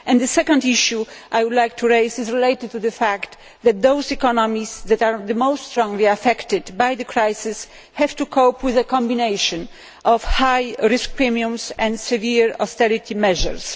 The second issue is related to the fact that those economies that are the most strongly affected by the crisis have to cope with a combination of high risk premiums and severe austerity measures.